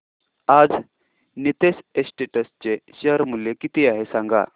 आज नीतेश एस्टेट्स चे शेअर मूल्य किती आहे सांगा